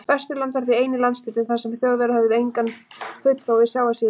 Vesturland var því eini landshlutinn, þar sem Þjóðverjar höfðu engan fulltrúa við sjávarsíðuna.